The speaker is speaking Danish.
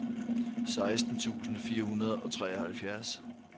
seksten tusind fire hundrede og treoghalvfjerds